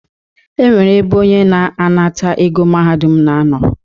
E nwere ebe onye na-anata ego Mahadum na-anọ.